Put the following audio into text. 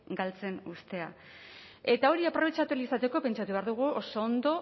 galtzen uztea eta hori aprobetxatu ahal izateko pentsatu behar dugu oso ondo